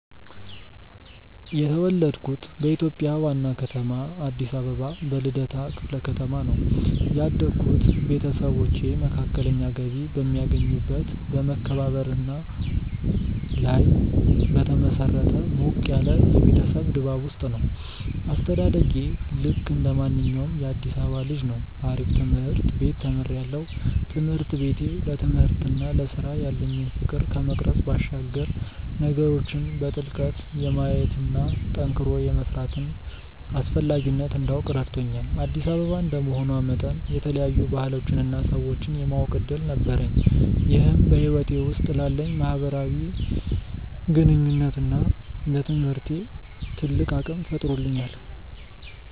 የተወለድኩት በኢትዮጵያ ዋና ከተማ አዲስ አበባ በልደታ ክፍለ ከተማ ነው። ያደግኩት ቤተሰቦቼ መካከለኛ ገቢ በሚያገኙበት በመከባበርና ላይ በተመሰረተ ሞቅ ያለ የቤተሰብ ድባብ ውስጥ ነው። አስተዳደጌ ልክ እንደማንኛውም የአዲሳባ ልጅ ነው አሪፍ ትምርት ቤት ተምሪያለሁ። ትምህርት ቤቴ ለትምህርትና ለስራ ያለኝን ፍቅር ከመቅረጽ ባሻገር ነገሮችን በጥልቀት የማየትና ጠንክሮ የመስራትን አስፈላጊነት እንዳውቅ ረድቶኛል። አዲስ አበባ እንደመሆኗ መጠን የተለያዩ ባህሎችንና ሰዎችን የማወቅ እድል ነበረኝ ይህም በህይወቴ ውስጥ ላለኝ የማህበራዊ ግንኙነትና ለትምህርቴ ትልቅ አቅም ፈጥሮልኛል።